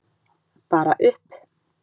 Bara upp!